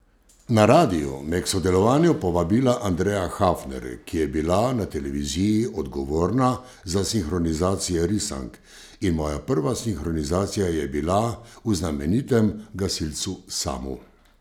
Na radiu me je k sodelovanju povabila Andreja Hafner, ki je bila na televiziji odgovorna za sinhronizacije risank, in moja prva sinhronizacija je bila v znamenitem Gasilcu Samu.